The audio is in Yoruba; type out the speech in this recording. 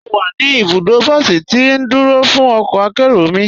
Mọ́ wà ní ibùdó bọ̀sí tì ndúró fún ọkọ̀ àkéró mi.